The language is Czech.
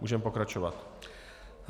Můžeme pokračovat.